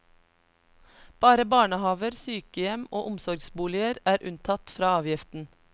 Bare barnehaver, sykehjem og omsorgsboliger er unntatt fra avgiften.